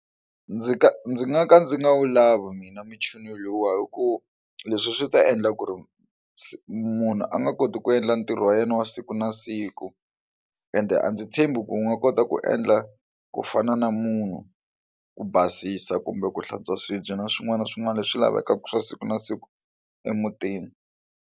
Ndzi ka ndzi nga ka ndzi nga wu lava mina muchini lowuwa hi ku leswi swi ta endla ku ri munhu a nga koti ku endla ntirho wa yena wa siku na siku ende a ndzi tshembi ku nga kota ku endla ku fana na munhu ku basisa kumbe ku hlantswa swibye na swin'wana na swin'wana leswi lavekaka swa siku na siku emutini.